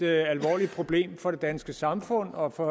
er et alvorligt problem for det danske samfund og for